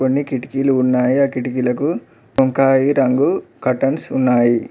కొన్ని కిటికీలు ఉన్నాయి ఆ కిటికీలకు వంకాయి రంగు కర్టన్స్ ఉన్నాయి.